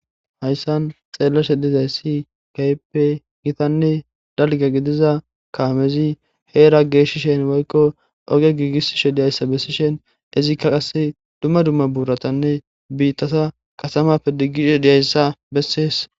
Hayssan xeellashe dizay si kayppe gitanne dalga gidiza kaamezi heera geeshishen woykko oge giigissishe diyayssa bessishen izikka qasse dumma dumma buuratanne biittata kasamappe diggishe diyayssa bessees.